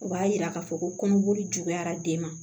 O b'a yira k'a fɔ ko kɔnɔboli juguyara den ma